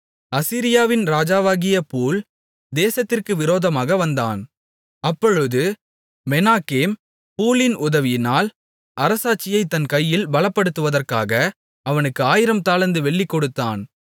அசீரியாவின் ராஜாவாகிய பூல் தேசத்திற்கு விரோதமாக வந்தான் அப்பொழுது மெனாகேம் பூலின் உதவியினால் அரசாட்சியை தன் கையில் பலப்படுத்துவதற்காக அவனுக்கு ஆயிரம் தாலந்து வெள்ளி கொடுத்தான்